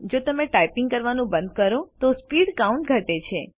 જો તમે ટાઇપ કરવાનું બંધ કરો તો સ્પીડ કાઉન્ટ ઘટે છે